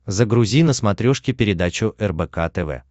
загрузи на смотрешке передачу рбк тв